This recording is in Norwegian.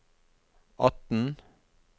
atten